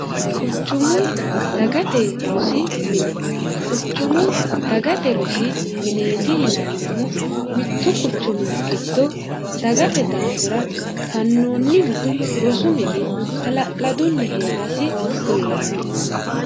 quchumu dagate rosi mine quchumu dagate rosi mineeti yinannihu mittu quchumi giddo dagate daafira fannoonnihu rosu mini hala'ladunni hee'rasi kullaanni